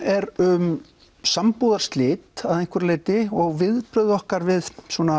er um sambúðarslit að einhverju leyti og viðbrögð okkar við